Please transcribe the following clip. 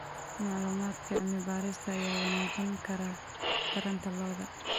Macluumaadka cilmi-baarista ayaa wanaajin kara taranta lo'da.